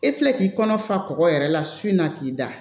E filɛ k'i kɔnɔ fa kɔgɔ yɛrɛ la su na k'i da